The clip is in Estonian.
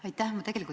Aitäh!